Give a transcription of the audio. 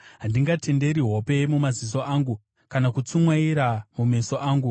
handingatenderi hope mumaziso angu, kana kutsumwaira mumeso angu,